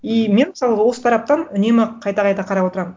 и мен мысалғы осы тараптан үнемі қайта қайта қарап отырамын